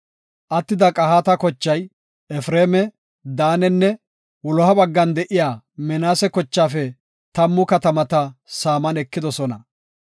Attida Qahaata kochay, Efreema, Daanenne wuloha baggan de7iya Minaase kochaafe tammu katamata saaman ekidosona.